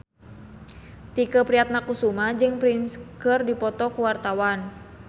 Tike Priatnakusuma jeung Prince keur dipoto ku wartawan